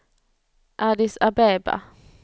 Addis Abeba